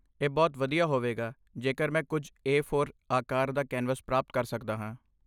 ਇਹ ਬਹੁਤ ਵਧੀਆ ਹੋਵੇਗਾ ਜੇਕਰ ਮੈਂ ਕੁੱਝ ਏ ਫੋਰ ਆਕਾਰ ਦਾ ਕੈਨਵਸ ਪ੍ਰਾਪਤ ਕਰ ਸਕਦਾ ਹਾਂ